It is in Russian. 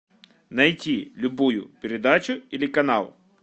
найти любую передачу или канал